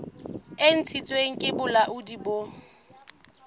e ntshitsweng ke bolaodi bo